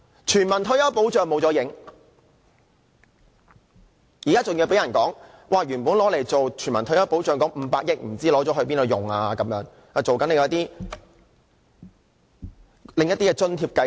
全民退休保障失去蹤影，更有指原本用作全民退休保障的500億元不知用了做甚麼，好像拿來推出另一些津貼計劃。